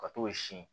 Ka t'o sin